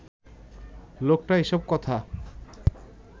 লোকটা এসব কথা